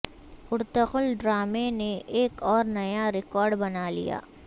Ertugrul ڈرامے نے ایک اور نیا ریکارڈ بنا لیا